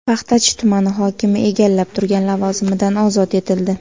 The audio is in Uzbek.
Paxtachi tumani hokimi egallab turgan lavozimidan ozod etildi.